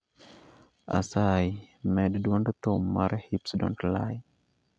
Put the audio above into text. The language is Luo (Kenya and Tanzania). Asayi med dwond thum mar hips dont lie